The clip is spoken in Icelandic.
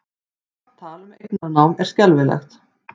Allt tal um eignarnám er skelfilegt